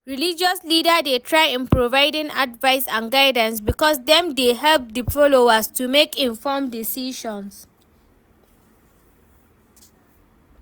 Religious leaders dey try in providing advice and guidance because dem dey help di followers to make informed decisions.